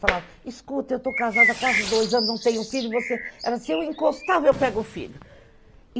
Falava, escuta, eu estou casada há quase dois anos, não tenho filho, e você... Ela, se eu encostava, eu pego filho.